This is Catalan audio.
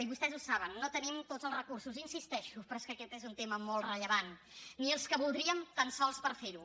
i vostès ho saben no tenim tots els recursos hi insisteixo però és que aquest és un tema molt rellevant ni els que voldríem tan sols per fer ho